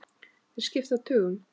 Þeir skipta tugum.